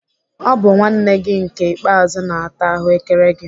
Ọ bụ nwanne gị nke ikpeazu na-ata ahụ́kere gị.